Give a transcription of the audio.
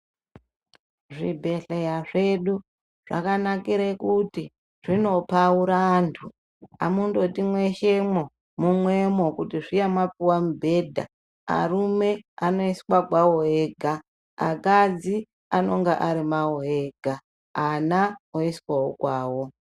Zvibhedhleya zvedu zvakanakire kuti zvinopaura vantu. Hamundoti mweshemwo mumwemo kuti zviya mapuva mubhedha. Arume anoiswa kwavo ega akadzi anonga ari mwavo ega ana oiswavo kwavo.